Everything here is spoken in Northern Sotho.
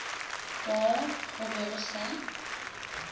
poo go be go sa